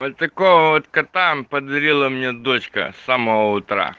водка там подарила мне дочка с самого утра